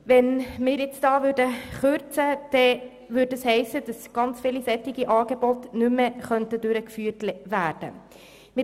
Wenn wir hier kürzen, würde dies bedeuten, dass zahlreiche solcher Angebote nicht mehr durchgeführt werden können.